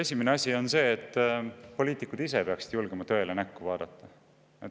Esimene asi on see, et poliitikud ise peaksid julgema tõele näkku vaadata.